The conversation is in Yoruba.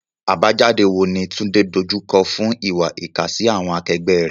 Àbájáde wo ni Tunde dojú kọ fún ìwà ìkà sí àwọn akẹgbẹ́ rẹ̀?